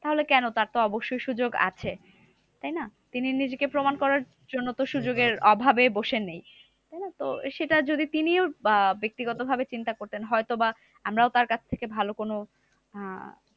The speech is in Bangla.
তাহলে কেন তার তো অবশ্যই সুযোগ আছে, তাইনা? তিনি নিজেকে প্রমান করার জন্য তো সুযোগের অভাবে তো বসে নেই। তো সেটা যদি তিনি আহ ব্যাক্তিগত ভাবে তিনি তা করতেন। হয়তো বা আমরাও তার কাছ থেকে ভালো কোনো আহ